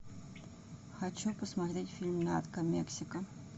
хочу посмотреть фильм нарко мексика